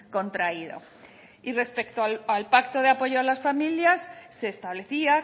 contraído y respecto al pacto de apoyo a las familias se establecía